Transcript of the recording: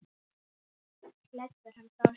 Leggur hann frá sér.